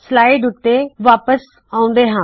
slides ਉੱਤੇ ਵਾਪਸ ਆਉਂਦੇ ਹਾ